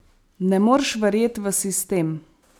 Ne morš verjet v sistem.